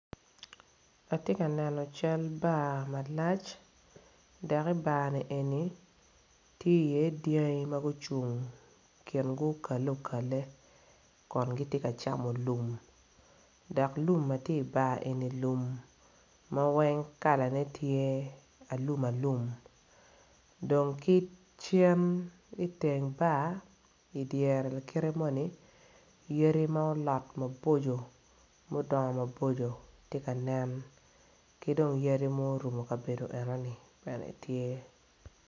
Atye ka neno cal bar malac dok i bar eni tye iye dyangi ma gucung kingi okale okale kun gitye ka camo lum dok lum ma tye i bar eni lum m a weng kalane tye alumalum dong ki cen iteng bar idyere lakite moni yadi ma olot maboco mudongo maboco tye ka nen ki dong yadi ma orumo kabedo enoni bene tye.